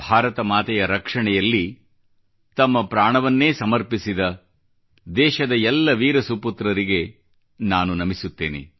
ಭಾರತ ಮಾತೆಯ ರಕ್ಷೆಯಲ್ಲಿ ತಮ್ಮ ಪ್ರಾಣವನ್ನೇ ಸಮರ್ಪಿಸಿದ ದೇಶದ ಎಲ್ಲ ವೀರ ಸುಪುತ್ರರಿಗೆ ನಾನು ನಮಿಸುತ್ತೇನೆ